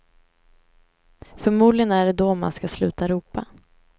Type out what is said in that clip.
Förmodligen är det då man ska sluta ropa.